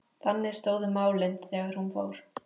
Þannig stóðu málin þegar hún fór.